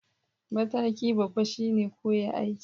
Mataki babba shine koya aiki